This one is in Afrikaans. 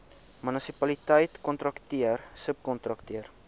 munisipaliteit kontrakteur subkontrakteur